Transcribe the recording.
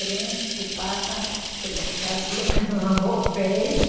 trens que passam pelos cálculos que meu avô fez.